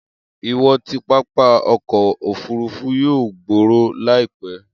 Iwọn ti pápá ọkọ ofurufu yoo gbooro laipẹ.